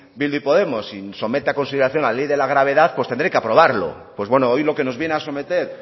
bildu y podemos y somete a consideración la ley de la gravedad pues tendré que aprobarlo pues bueno hoy lo que nos viene a someter